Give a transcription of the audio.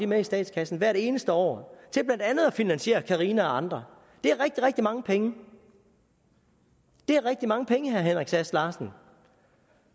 med i statskassen hvert eneste år til blandt andet at finansiere carina og andre det er rigtig rigtig mange penge det er rigtig mange penge herre henrik sass larsen